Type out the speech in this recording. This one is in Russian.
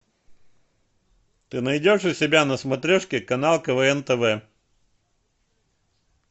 ты найдешь у себя на смотрешке канал квн тв